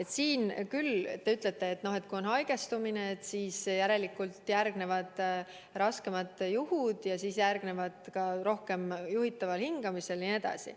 Te siin ütlete, et kui on palju haigestunuid, siis järelikult järgnevad raskemad juhud, siis on ka rohkem inimesi juhitaval hingamisel jne.